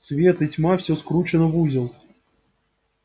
свет и тьма всё скручено в узел